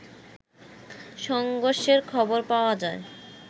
সংঘর্ষের খবর পাওয়া যায়